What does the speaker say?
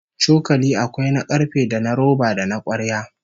Cokali akwai na karfe, da na roba, da na kwarya